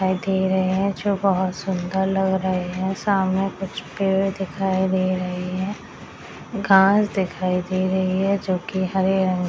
दिखाई दे रहे हैं जो बहुत सुन्दर लग रहे हैं सामने कुछ पेड़ दिखाई दे रहे हैं घास दिखाई दे रही है जोकि हरे रंग --